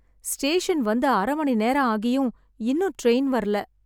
station வந்து அரை மணி நேரம் ஆகியும் இன்னும் ட்ரெயின் வரல